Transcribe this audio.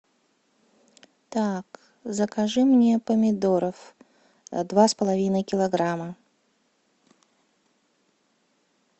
так закажи мне помидоров два с половиной килограмма